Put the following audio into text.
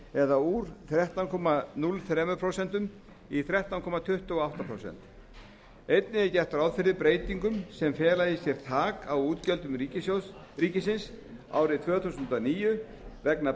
fimm prósentustig úr þrettán komma núll þrjú prósent í þrettán komma tuttugu og átta prósent einnig er gert ráð fyrir breytingum sem fela í sér þak á útgjöldum ríkisins árið tvö þúsund og níu vegna